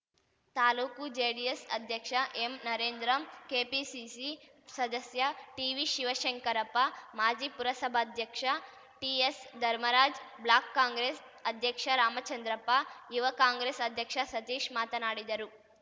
taluk JDS ಅಧ್ಯಕ್ಷ ಎಂನರೇಂದ್ರಂ KPCC ಸದಸ್ಯ ಟಿವಿಶಿವಶಂಕರಪ್ಪ ಮಾಜಿ ಪುರಸಭಾಧ್ಯಕ್ಷ ಟಿಎಸ್‌ಧರ್ಮರಾಜ್‌ ಬ್ಲಾಕ್‌ ಕಾಂಗ್ರೆಸ್‌ ಅಧ್ಯಕ್ಷ ರಾಮಚಂದ್ರಪ್ಪ ಯುವ ಕಾಂಗ್ರೆಸ್‌ ಅಧ್ಯಕ್ಷ ಸತೀಶ್‌ ಮಾತನಾಡಿದರು